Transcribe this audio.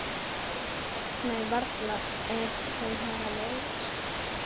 Nei, varla ef þau hafa leiðst.